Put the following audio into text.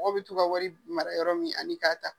Mɔgɔw bi t'u ka wari mara yɔrɔ min ani k'a ta.